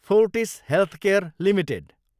Fortis healthcare Ltd